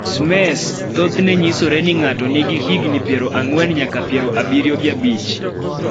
SMECE thothne nyisore ni ng�ato nigi higni piero ang'wen nyaka piero abiriyo gi abich.